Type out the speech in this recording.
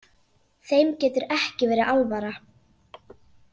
Þeim getur ekki verið alvara.